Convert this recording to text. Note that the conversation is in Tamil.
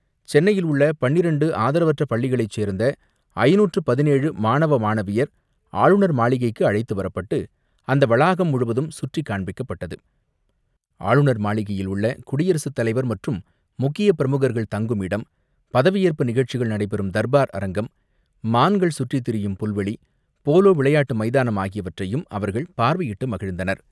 சென்னையில் உள்ள பன்னிரண்டு ஆதரவற்ற பள்ளிகளைச் சேர்ந்த ஐநூற்று பதினேழு மாணவ மாணவியர் ஆளுநர் மாளிகைக்கு அழைத்து வரப்பட்டு, அந்த வளாகம் முழுவதும் சுற்றி காண்பிக்கப்பட்டது, ஆளுநர் மாளிகையில் உள்ள குடியரசு தலைவர் மற்றும் முக்கிய பிரமுகர்கள் தங்கும் இடம், பதவியேற்பு நிகழ்ச்சிகள் நடைபெறும் தர்பார் அரங்கம், மான்கள் சுற்றித் திரியும் புல்வெளி, போலோ விளையாட்டு மைதானம் ஆகியவற்றையும் அவர்கள் பார்வையிட்டு மகிழ்ந்தனர்.